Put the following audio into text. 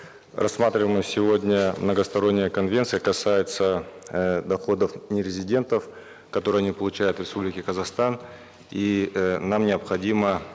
рассматриваемая сегодня многосторонняя конвенция касается э доходов нерезидентов которые не получают в республике казахстан и э нам необходимо